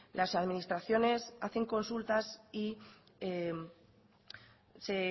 las administraciones hacen consultas y se